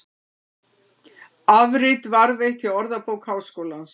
Afrit varðveitt hjá Orðabók Háskólans.